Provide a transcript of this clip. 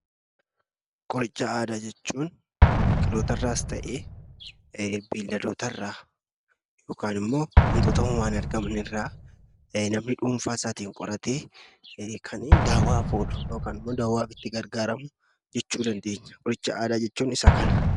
Qoricha aadaa jechuun biqilootarraas ta'ee beelladootarraa yokaan immoo wantoota uumamaan argaman irraa namni dhuunfaasaatiin qoratee kan daawaaf oolu yokin immoo daawaaf itti gargaaramu jechuu dandeenya. Qoricha aadaa jechuun isa kana.